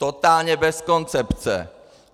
Totálně bez koncepce.